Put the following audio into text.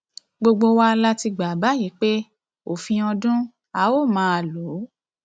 gbogbo wa la ti gbà báyìí pé òfin ọdún a ó máa lò